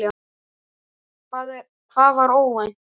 Hvað var óvænt?